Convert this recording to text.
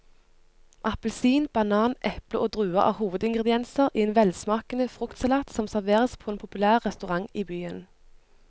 Appelsin, banan, eple og druer er hovedingredienser i en velsmakende fruktsalat som serveres på en populær restaurant i byen.